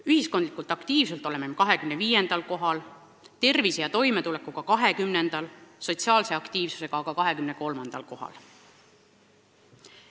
Ühiskondlikult aktiivsuselt oleme 25. kohal, tervise ja toimetuleku poolest 20. kohal, sotsiaalse aktiivsuse poolest 23. kohal.